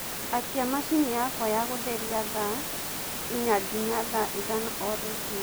akĩa machĩnĩ yakwa ya gutherĩa thaa ĩnya nginya ithano o rũcĩĩnĩ